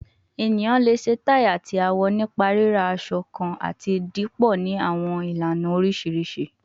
Eniyan le ṣe tai ati awọ nipa rira asọ kan ati dipọ ni awọn ilana oriṣiriṣi